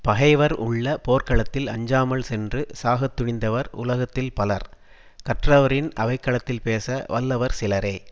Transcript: பகைவர் உள்ள போர்க்களத்தில் அஞ்சாமல் சென்று சாகத் துணிந்தவர் உலகத்தில் பலர் கற்றவரின் அவை களத்தில் பேச வல்லவர் சிலரே